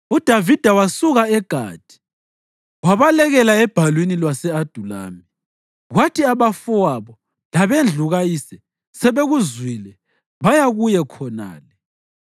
UDavida wasuka eGathi wabalekela ebhalwini lwase-Adulami. Kwathi abafowabo labendlu kayise sebekuzwile, baya kuye khonale.